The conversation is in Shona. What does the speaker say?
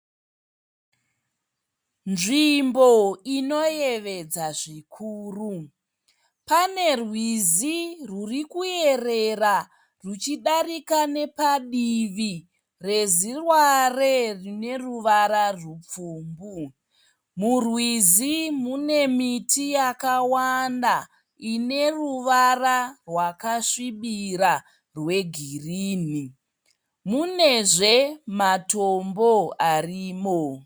Nzvimbo inoyevedza zvikuru, pane rwizi rwuri kuyerera rwuchidarika nepadivi reziware rine ruvara rwupfumbu. Murwizi mune miti yakawanda ine ruvara rwakasvibira rwegirini, munezve matombo arimo.